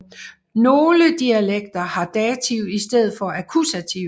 Nogen dialekter har dativ i stedet for akkusativ